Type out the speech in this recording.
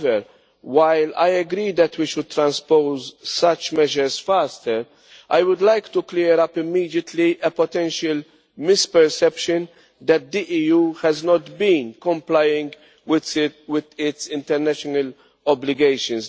However, while I agree that we should transpose such measures faster, I would like to clear up immediately a potential misperception that the EU has not been complying with its international obligations.